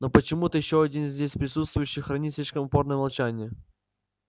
но почему-то ещё один здесь присутствующий хранит слишком упорное молчание